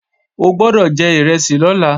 O gbọ́dọ̀ jẹ ìrẹsì lọ́la!